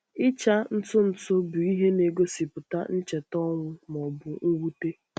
Ịcha ntutu bụ ihe na-egosipụta ncheta ọnwụ ma ọ bụ mwute.